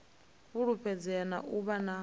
fulufhedzea na u vha na